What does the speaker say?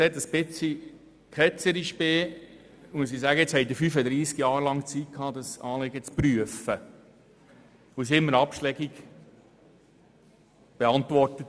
Ich könnte etwas ketzerisch sagen, dass sie 35 Jahre lang Zeit hatte, dieses Anliegen zu prüfen, wobei die Beantwortung immer abschlägig ausfiel.